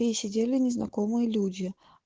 и сидели незнакомые люди